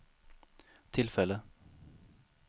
tillfälle